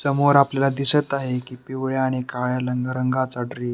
समोर आपल्याला दिसत आहे की पिवळ्या आणि काळ्या रंगरंगाचा ड्रे --